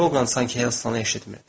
Drouqa sanki Helstonu eşitmirdi.